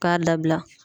K'a labila